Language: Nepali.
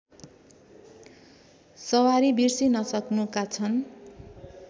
सवारी बिर्सिनसक्नुका छन्